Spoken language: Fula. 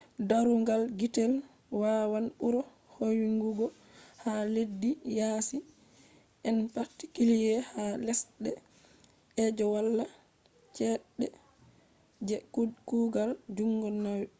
darugal gitel wawan buro hoyugo ha leddi yaasi musamman ha lesde je wala chede je kugal jungo nawai